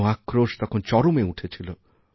গণ আক্রোশ তখন চরমে পৌঁছেছিল